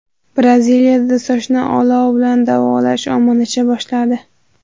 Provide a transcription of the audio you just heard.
Braziliyada sochni olov bilan davolash ommalasha boshladi.